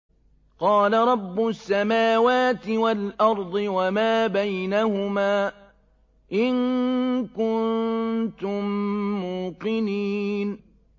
قَالَ رَبُّ السَّمَاوَاتِ وَالْأَرْضِ وَمَا بَيْنَهُمَا ۖ إِن كُنتُم مُّوقِنِينَ